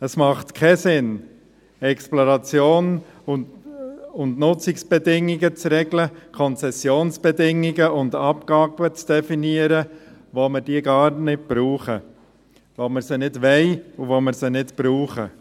Es macht keinen Sinn, Exploration und Nutzungsbedingungen zu regeln, Konzessionsbedingungen und Abgaben zu definieren, wenn wir diese gar nicht brauchen, wenn wir sie nicht wollen und nicht brauchen.